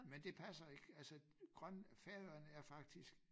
Men det passer ik altså grøn Færøerne er faktisk